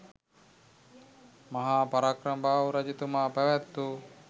මහා පරාක්‍රමබාහු රජතුමා පැවැත් වූ